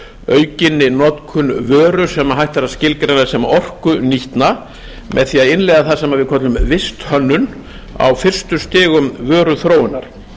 aukinni notkun vöru sem hægt er að skilgreina sem orkunýtna með því að innleiða það sem við köllum visthönnun á fyrstu stigum vöruþróunar